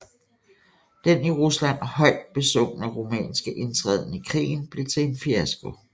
Den i Rusland højt besungne rumænske indtræden i krigen blev til en fiasko